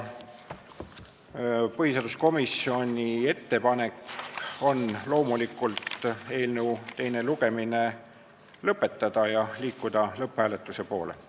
Põhiseaduskomisjoni ettepanek on loomulikult eelnõu teine lugemine lõpetada ja liikuda lõpphääletusele poole.